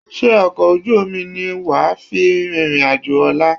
Ṣé ọkọ̀ ojú omi ní wà à fi rìnrìn àjò ọ̀la?